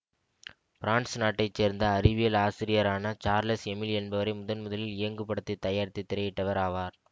France நாட்டை சேர்ந்த அறிவியல் ஆசிரியரான சார்லஸ் எமிலி என்பவரே முதன் முதலில் இயங்குபடத்தை தயாரித்து திரையிட்டவர் ஆவார்